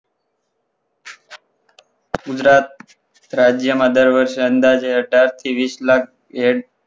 ગુજરાત રાજ્યમાં દર વર્ષે અંદાજે અઢાર થી વીસ લાખ એડ